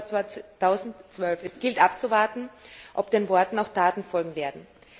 2012. Es gilt abzuwarten, ob den Worten auch Taten folgen werden.